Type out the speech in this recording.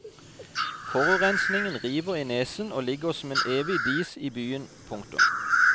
Forurensningen river i nesen og ligger som en evig dis i byen. punktum